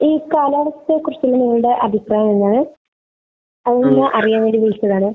ഈ കാലാവസ്ഥയെ കുറിച്ച് നിങ്ങളുടെ അഭിപ്രായം എന്താണ്? അത് അറിയാൻ വേണ്ടി വിളിച്ചതാണ്.